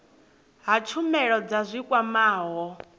ha tshumelo dza zwi kwamaho